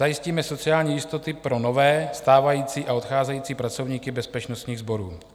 Zajistíme sociální jistoty pro nové, stávající a odcházející pracovníky bezpečnostních sborů."